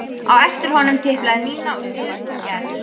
Á eftir honum tiplaði Nína og síðust kom Gerður.